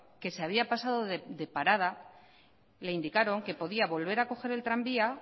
que se había pasado de parada le indicaron que podía volver a coger el tranvía